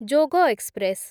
ଯୋଗ express